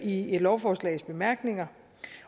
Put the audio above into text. i et lovforslags bemærkninger